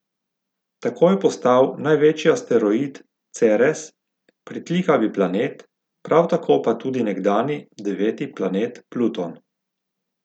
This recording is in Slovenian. Tako je postal največji asteroid Ceres pritlikavi planet, prav tako pa tudi nekdanji deveti planet Pluton.